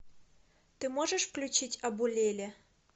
ты можешь включить абулеле